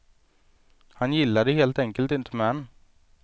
Han gillade helt enkelt inte män.